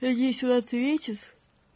надеюсь он ответит